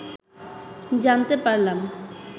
জানতে পারলাম